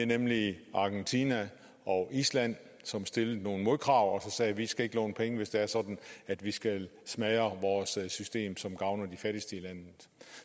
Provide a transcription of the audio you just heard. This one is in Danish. nemlig argentina og island som stillede nogle modkrav og sagde vi skal ikke låne penge hvis det er sådan at vi skal smadre vores system som gavner de fattigste i landet